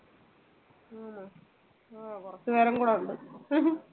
ആ കുറച്ച് നേരം കൂടെ ഉണ്ട്